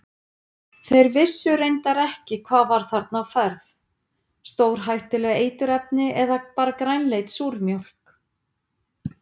Þeir vissu reyndar ekki hvað var þarna á ferð, stórhættuleg eiturefni eða bara grænleit súrmjólk?